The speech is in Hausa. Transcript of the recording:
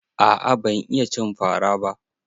Aa ban iya cin fa ra ba.